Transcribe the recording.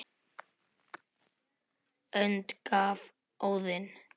önd gaf Óðinn